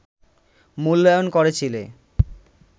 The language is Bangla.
মূল্যায়ন করেছিলে